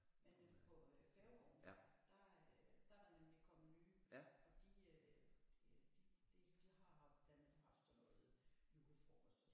Men nede på Færgegaarden der der er der nemlig kommet nye og de de det de har haft blandt andet haft sådan noget julefrokost